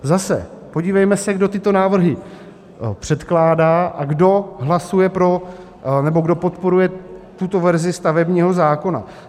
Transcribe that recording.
Zase, podívejme se, kdo tyto návrhy předkládá a kdo hlasuje pro, nebo kdo podporuje tuto verzi stavebního zákona.